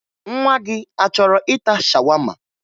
Nwa gị a chọrọ ịta shawama?